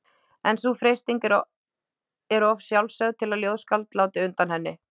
En sú freisting er of sjálfsögð til að ljóðskáld láti undan henni.